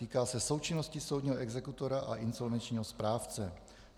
Týká se součinnosti soudního exekutora a insolvenčního správce.